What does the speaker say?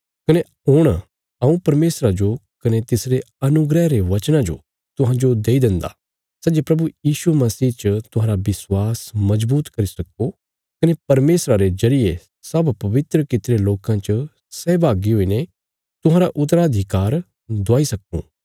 कने हुण हऊँ परमेशरा जो कने तिसरे अनुग्रह रे वचना जो तुहांजो दई देन्दा सै जे प्रभु यीशु मसीह च तुहांरा विश्वास मजबूत करी सक्को कने परमेशरा रे जरिये सब पवित्र कित्तिरे लोकां च सहभागी हुईने तुहांरा उत्तराधिकार दिलाई सक्कां